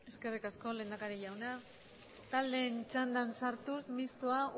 eskerrik asko lehendakari jauna taldeen txandan sartuz mistoa